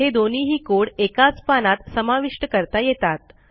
हे दोन्हीही कोड एकाच पानात समाविष्ट करता येतात